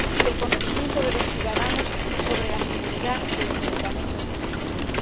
el conocimiento de los ciudadanos sobre la seguridad de los medicamentos que consumen.